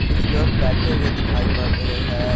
कुछ लोग बैठे हुए दिखाई पड़ रहे हैं।